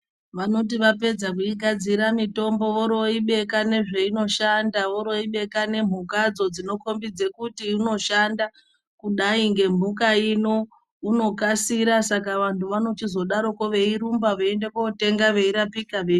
Vanoti vapedza kuigadzira mitombo vori voibeka nezvaino shanda voiri voibeka ne mhukadzo dzino kombidze kuti ino shanda kudai nge mhuka ino ino kasira saka vanhu vanochizodaroko vei rumba vei ende kotenga vei rapika vei.